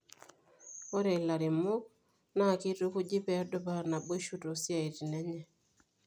Ore ilairemok naa keitukuji pee edupaa naboisho toosiaitin enye.